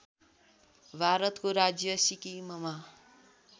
भारतको राज्य सिक्किममा